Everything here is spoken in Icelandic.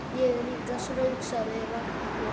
Ég er líka svöng sagði Ragnhildur.